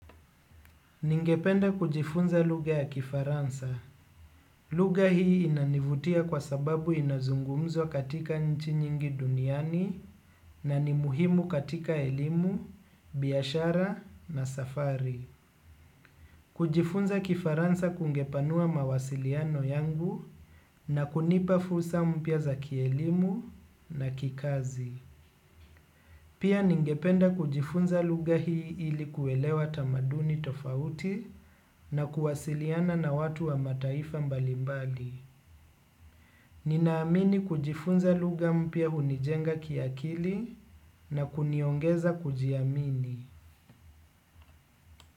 Ningependa kujifunza lugha ya kifaransa. Lugha hii inanivutia kwa sababu inazungumzwa katika nchi nyingi duniani na ni muhimu katika elimu, biashara na safari. Kujifunza kifaransa kungepanua mawasiliano yangu na kunipa fursa mpya za kielimu na kikazi. Pia ningependa kujifunza lugha hii ili kuelewa tamaduni tofauti na kuwasiliana na watu wa mataifa mbalimbali. Ninaamini kujifunza lugha mpya hunijenga kiakili na kuniongeza kujiamini.